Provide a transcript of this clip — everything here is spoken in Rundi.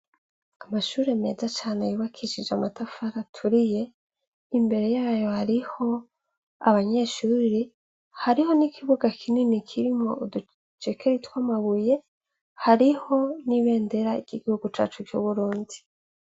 Amashure meza cane yubakishij' amatafar'aturiye, imbere yayo harih'abanyeshure, hariho n' ikibuga kinini kirimw' uducekeri tw'amabuye, hariho n'ibendera ry igihugu cacu cu Burundi.